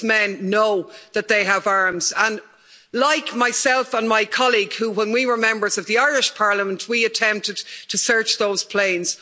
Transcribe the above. These men know that they have arms and, like myself and my colleague, when we were members of the Irish Parliament, attempted to search those planes.